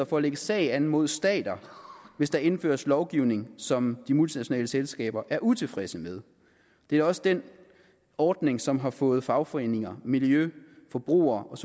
for at lægge sag an mod stater hvis der indføres lovgivning som de multinationale selskaber er utilfredse med det er også den ordning som har fået fagforeninger miljø forbruger og